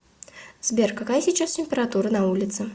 сбер какая сейчас температура на улице